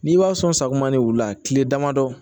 N'i b'a sɔn sakuma ni wula kile damadɔ